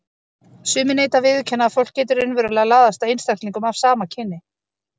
Sumir neita að viðurkenna að fólk geti raunverulega laðast að einstaklingum af sama kyni.